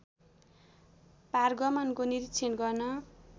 पारगमनको निरीक्षण गर्न